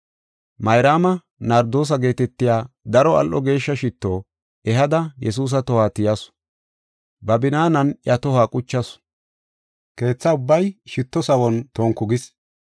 Mayraama nardoose geetetiya daro al7o geeshsha shitto ehada Yesuusa tohuwa tiyasu. Ba binaanan iya tohuwa quchasu; keetha ubbay shitto sawon tonku gis.